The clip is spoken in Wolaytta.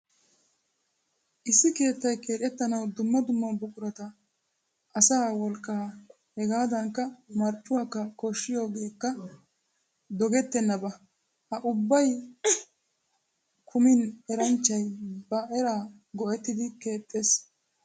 Issi keettay keexettanawu dumma dumma buqurata, asaa wolqqaa hegaadankka marccuwakka koshshiyogeekka dogettennaba. Ha ubbay kumin eranchchay ba eraa go'ettidi keexxees.